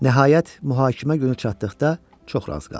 Nəhayət, məhkəmə günü çatdıqda çox razı qaldı.